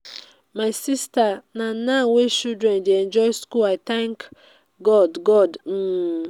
um my sister na now wey children dey enjoy school. i thank god god um.